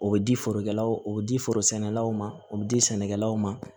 O bɛ di forokɛlaw ma o bɛ di forosɛnɛlaw ma o bɛ di sɛnɛkɛlaw ma